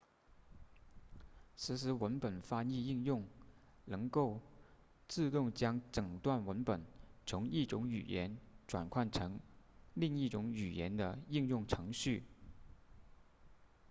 实时文本翻译应用能够自动将整段文本从一种语言转换成另一种语言的应用程序